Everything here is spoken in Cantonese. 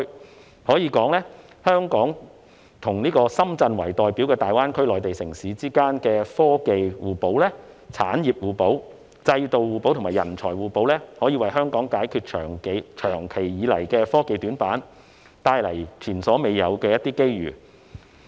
我可以說，香港和以深圳為代表的大灣區內地城市之間的科技互補、產業互補、制度互補和人才互補，可以為香港解決長期以來的科技短板，帶來前所未有的機遇。